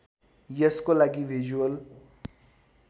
यसको लागि भिजुअल